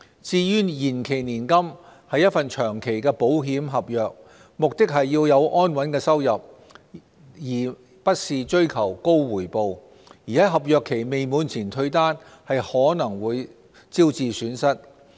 至於延期年金是一份長期保險合約，目的是要有安穩的收入，而不是追求高回報；而在合約期未滿前退單，可能會招致損失。